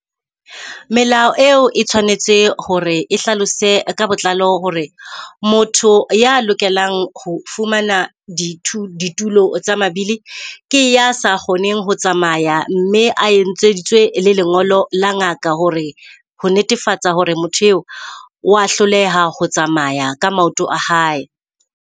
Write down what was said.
Melao eo e tshwanetse hore e hlalose ka botlalo hore motho ya lokelang ho fumana ditulo tsa mabile, ke a sa kgoneng ho tsamaya mme a etseditswe le lengolo la ngaka hore ho netefatsa hore motho eo, wa hloleha ho tsamaya ka maoto a hae.